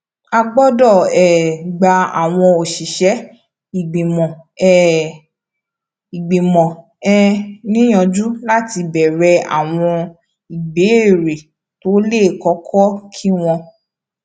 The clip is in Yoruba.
a gbódò um gba àwọn òṣìṣé ìgbìmò um ìgbìmò um níyànjú láti béèrè àwọn ìbéèrè tó le koko kí wón